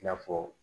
I n'a fɔ